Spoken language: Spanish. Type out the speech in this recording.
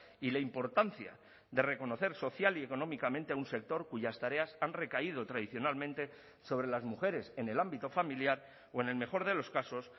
y la importancia de reconocer social y económicamente a un sector cuyas tareas han recaído tradicionalmente sobre las mujeres en el ámbito familiar o en el mejor de los casos